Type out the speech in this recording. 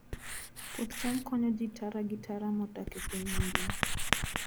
Puoth cham konyo ji tara gi tara modak e piny mangima.